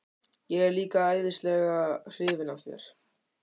Ég er líka æðislega hrifin af þér.